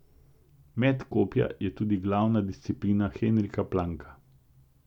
Met kopja je tudi glavna disciplina Henrika Planka.